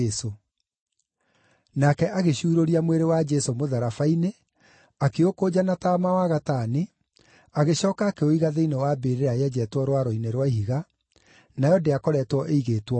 Nake agĩcuurũria mwĩrĩ wa Jesũ mũtharaba-inĩ, akĩũkũnja na taama wa gatani, agĩcooka akĩũiga thĩinĩ wa mbĩrĩra yenjetwo rwaro-inĩ rwa ihiga, nayo ndĩakoretwo ĩigĩtwo mũndũ.